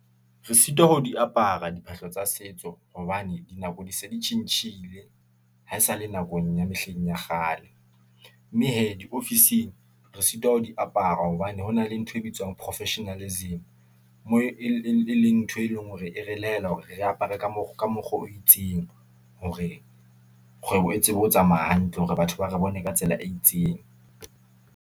Re sitwa ho di apara diphahlo tsa setso, hobane dinako di se di tjhentjhile , haesale nakong ya mehleng ya kgale , mme hee diofising , re sitwa ho di apara hobane hona le ntho e bitswang ho professionalism , moo e leng ntho e leng hore e re lokela hore re apare ka mokgwa o itseng , hore kgwebo e tsebe ho tsamaya hantle, hore batho ba re bone ka tsela e itseng.